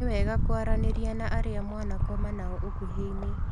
Nĩwega kũaranĩria na arĩa mwanakoma nao ũkuhĩinĩ